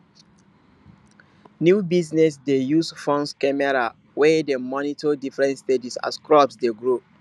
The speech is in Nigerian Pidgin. new business dey use phones camera wey dey monitor different stages as crops dey grow